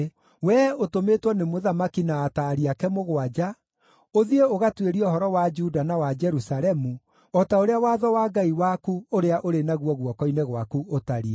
Wee ũtũmĩtwo nĩ mũthamaki na ataari ake mũgwanja, ũthiĩ ũgatuĩrie ũhoro wa Juda na wa Jerusalemu, o ta ũrĩa Watho wa Ngai waku ũrĩa ũrĩ naguo guoko-inĩ gwaku ũtariĩ.